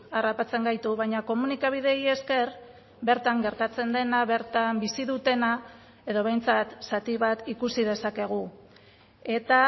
harrapatzen gaitu baina komunikabideei esker bertan gertatzen dena bertan bizi dutena edo behintzat zati bat ikusi dezakegu eta